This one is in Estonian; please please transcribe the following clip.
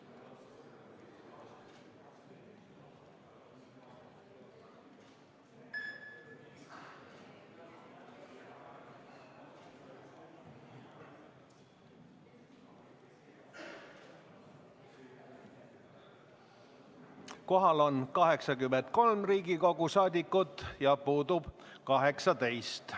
Kohaloleku kontroll Kohal on 83 Riigikogu liiget, puudub 18.